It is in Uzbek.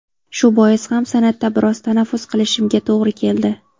Shu bois ham san’atda biroz tanaffus qilishimga to‘g‘ri keldi.